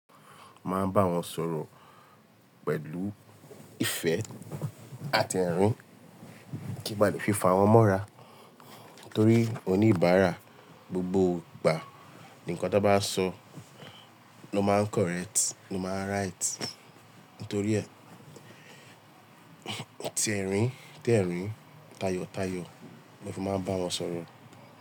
Máa bá wọn sọ̀rọ̀ pẹ̀lú ìfẹ́ àti ẹ̀rín, kí n ba lè fìfà wọ́n mọ́ra torí oníbàárà gbogbo gbà, ǹnkan tó bá so ló máa ń correct, ló máa ń right. Ntorí ẹ́, tí ẹ̀rín, tẹ̀rín, tayọ̀tayọ̀ mo fi máa ń bá wọn sọ̀rọ̀.